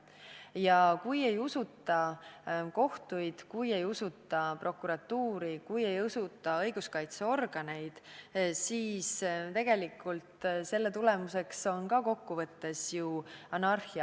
Ja kui ei usuta kohtuid, kui ei usuta prokuratuuri, kui ei usuta õiguskaitseorganeid, siis tegelikult on selle tagajärg kokkuvõttes ju anarhia.